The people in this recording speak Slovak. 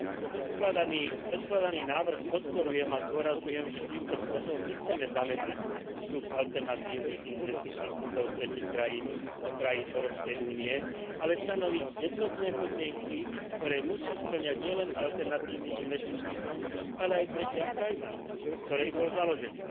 Predkladaný návrh podporujem a zdôrazňujem, že týmto spôsobom nechceme zamedziť vstup alternatívnych investičných fondov z tretích krajín do krajín Európskej únie, ale stanoviť jednotné podmienky, ktoré musí spĺňať nielen alternatívny investičný fond, ale aj tretia krajina, v ktorej bol založený.